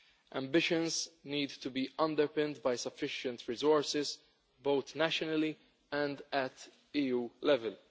Ambitions need to be underpinned by sufficient resources, both nationally and at EU level.